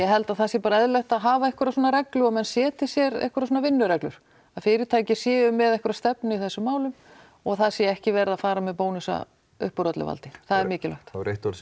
held að það sé bara eðlilegt að hafa einhverja svona reglu og menn setji sér einhverjar svona vinnureglur að fyrirtæki séu með einhverja stefnu í þessum málum og það sé ekki verið að fara með bónusa upp úr öllu valdi það er mikilvægt það var eitt orð sem